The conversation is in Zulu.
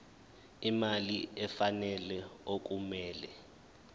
imali efanele okumele